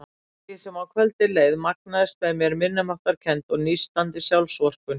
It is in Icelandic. Eftir því sem á kvöldið leið magnaðist með mér minnimáttarkennd og nístandi sjálfsvorkunn.